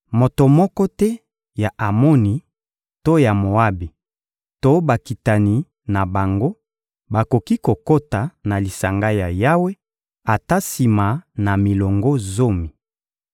Moto moko te ya Amoni to ya Moabi to bakitani na bango bakoki kokota na lisanga ya Yawe ata sima na milongo zomi.